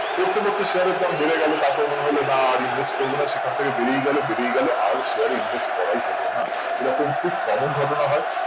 করতে করতে share এর দাম বেরে গেল তার পর মনে হলো না আর invest করবো না সেখান থেকে বেড়েই গেল বেড়েই গেল আর share এ insist করাই হলোনা এই রকম খুব common ঘটনা হয়